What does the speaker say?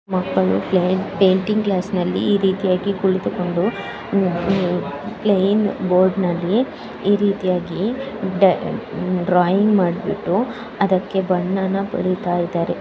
ಮಕ್ಕಳು painting class ಅಲ್ಲಿ ಈ ರೀತಿಯಾಗಿ ಕುಳಿತುಕೊಂಡು ಪ್ಲೈನ್ ಬೋರ್ಡ್ನಲ್ಲಿ ಈ ರೀತಿಯಾಗಿ ಡ್ರಾಯಿಂಗ್ ಮಾಡಿಬಿಟ್ಟು ಅದಕ್ಕೆ ಬಣ್ಣನ ಬಳಿತಾಯಿದ್ದಾರೆ.